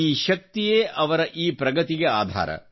ಈ ಶಕ್ತಿಯೇಅವರ ಈ ಪ್ರಗತಿಗೆ ಆಧಾರ